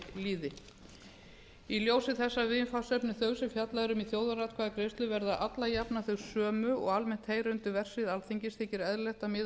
líði í ljósi þessa viðfangsefnis sem fjallað er um í þjóðaratkvæðagreiðslu verða alla jafnan þau sömu og almennt heyra undir verksvið alþingis þykir eðlilegt að miða